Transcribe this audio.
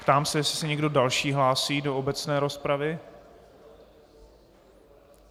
Ptám se, jestli se někdo další hlásí do obecné rozpravy.